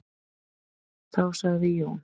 Þá sagði Jón: